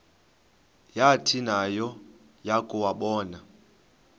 yathi nayo yakuwabona